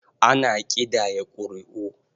Ana ƙidaya ƙuri'u.